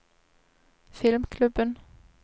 filmklubben